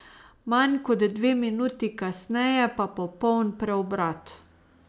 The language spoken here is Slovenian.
Manj kot dve minuti kasneje pa popoln preobrat.